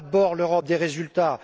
D'abord, l'Europe des résultats!